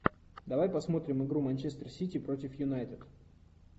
давай посмотрим игру манчестер сити против юнайтед